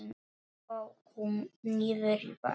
Við ókum niður í bæ.